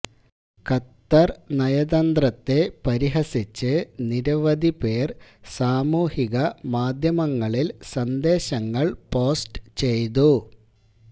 Qatar നയതന്ത്രത്തെ പരിഹസിച്ച് നിരവധി പേർ സാമൂഹികമാധ്യമങ്ങളിൽ സന്ദേശങ്ങൾ പോസ്റ്റ് ചെയ്തു